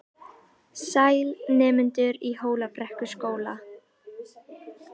Sæl, nemendur í Hólabrekkuskóla.